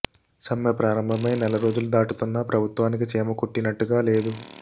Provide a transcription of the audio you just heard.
సమ్మె ప్రారంభమై నెల రోజులు దాటుతున్నా ప్రభుత్వానికి చీమ కుట్టినట్టుగా లేదు